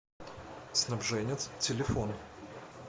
снабженец телефон